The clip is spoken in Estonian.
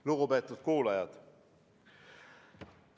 Lugupeetud kuulajad!